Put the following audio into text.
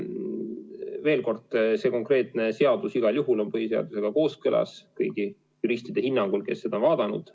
Veel kord, see konkreetne seadus igal juhul on põhiseadusega kooskõlas kõigi juristide hinnangul, kes seda on vaadanud.